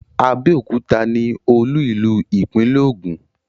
Abẹ́òkúta ni olú ìlú ìpínlẹ̀ Ògùn.